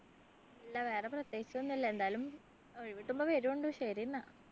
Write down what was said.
ഇല്ല വേറെ പ്രത്യേകിച്ചൊന്നും ഇല്ല എന്താലും ഒഴിവു കിട്ടുമ്പോ വേരുണ്ട് ശരി ന്നാ